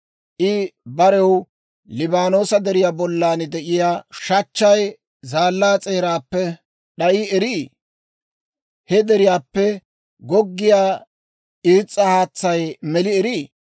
I barew, Liibaanoosa deriyaa bollan de'iyaa shachchay, zaallaa s'eeraappe d'ayi erii? He deriyaappe goggiyaa irs's'a haatsay meli erii?